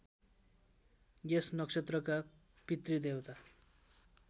यस नक्षत्रका पितृदेवता